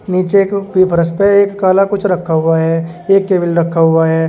नीचे एक पी फरस पर एक कला कुछ रखा हुआ है एक केबिल रखा हुआ है।